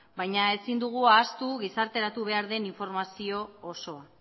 baina ezin dugu ahaztu gizarteratu behar den informazio osoa